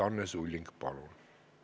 Anne Sulling, palun!